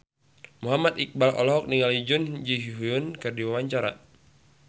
Muhammad Iqbal olohok ningali Jun Ji Hyun keur diwawancara